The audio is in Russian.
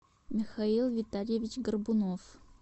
михаил витальевич горбунов